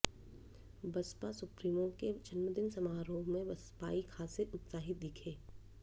Baspa supremo के जन्मदिन समारोह में बसपाई खासे उत्साहित दिखे